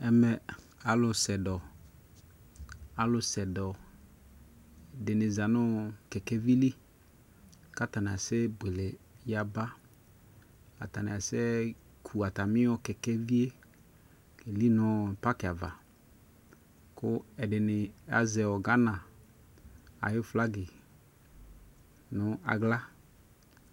Ɛmɛ alu sɛ dɔ, alu sɛ dɔ dini za nu kɛkɛ vi liKata ni asɛ buele ya baAtani asɛ ku ata mi yɔ kɛkɛ vi yɛ kɛ li nɔ paki avaKu ɛdini azɛ Gana ayʋ flagi nu aɣla